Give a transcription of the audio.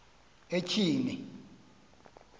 etyhini